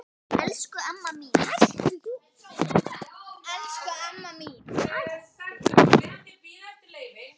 Elsku amma mín.